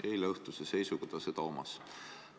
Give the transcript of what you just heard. Eileõhtuse seisuga ta neid omas.